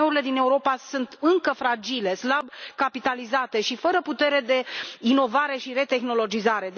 IMM urile din Europa sunt încă fragile, slab capitalizate și fără putere de inovare și retehnologizare.